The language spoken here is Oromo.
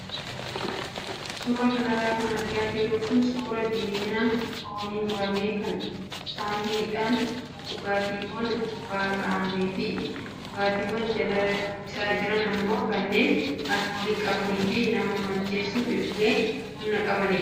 Suuraa kanarra kan argaa jirru kun suuraa diimina foonii muramee kan saahiniidhaan dhugaatiiwwan gubbaa kaa'amee fi dhugaatiiwwan jala isaa jiran immoo kanneen alkoolii qabanii fi nama macheessuuf illee humna qabanidha.